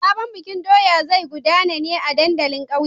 Sabon bikin doya zai gudana ne a dandalin ƙauye.